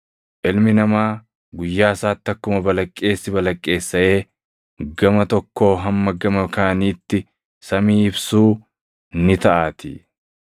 Ilmi Namaa guyyaa isaatti akkuma balaqqeessi balaqqeessaʼee gama tokkoo hamma gama kaaniitti samii ibsuu ni taʼaatii.